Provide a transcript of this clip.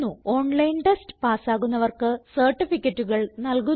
online test പാസ്സാകുന്നവർക്ക് സർട്ടിഫികറ്റുകൾ നല്കുന്നു